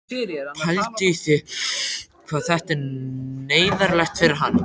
Pældu í því hvað þetta er neyðarlegt fyrir hann!